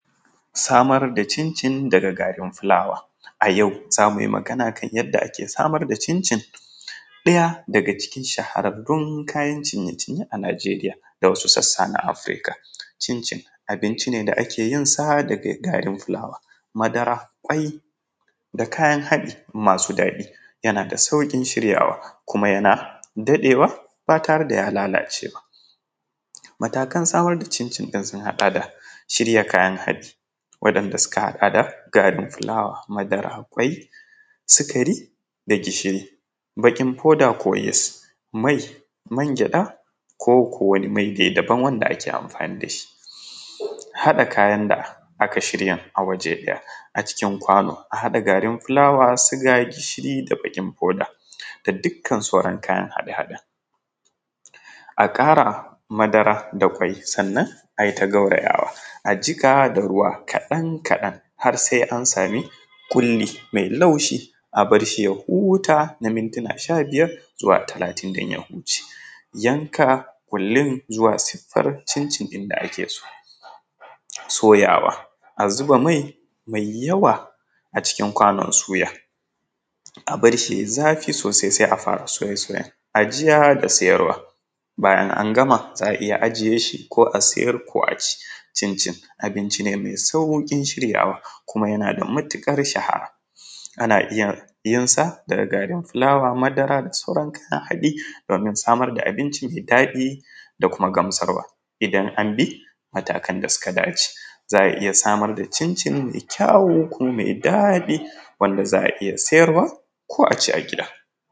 Samar da cincin daga garin filawa, a yau zamu yi magana akan yadda ake samar da cincin ɗaya daga cikin shahararrun kayan cinye-cinye a Nijeriya da wasu sassa na Afrika, cincin abinci ne da ake yin sa da dai garin filawa madara, ƙwai da kayan haɗi masu daɗi yana da sauƙin shiryawa kuma yana daɗewa batare da ya lalace ba, matakan samar da cincin sun haɗa da shirya kayan haɗi waɗanɗa suka haɗa da garin filawa, madara, kwai, sukari da gishiri bakin fawda ko yiss mai mangyaɗa ko ko wani mai daban wanda ake amfani da shi, haɗa kayan da aka shirya a waje ɗaya a cikin kwano a haɗa garin filawa sugar gishiri da bakin fawda da dukkan sauran kayan haɗa-haɗen a ƙara madara da kwai sannan a yi ta gawrayawa a jiƙa da ruwa kaɗan kaɗan har sai an sami kuli mai laushi a barshi ya huta na mintuna shabiyar zuwa talatin dan ya wuce, yanka kulin zuwa sifar cincin din da ake so soyawa a zuba mai mai yawa a cikin kwanon suya a barshi yayi zafi sosai sai a fara soye-soyen a je ga siyarwa bayan an gama za a iya ajiye shi ko a siyar ko a ci, cincin abinci ne mai saukin shiryawa kuma yana da matukar shaha ana iya yinsa da garin filawa madara da dai sauran kayan haɗi domin samar da abinci mai daɗi da kuma gamsarwa idan an bi matakan da suka dace zaa iya samar da cincin mai kyawu mai daɗi wanda zaa iya siyarwa ko a ci a gida.